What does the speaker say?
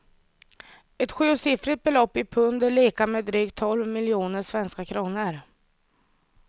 Ett sjusiffrigt belopp i pund är lika med drygt tolv miljoner svenska kronor.